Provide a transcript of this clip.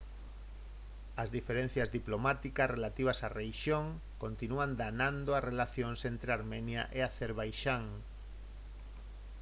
as diferenzas diplomáticas relativas á rexión continúan danando as relacións entre armenia e acerbaixán